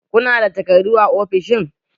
Ku nada takardu a ofishin?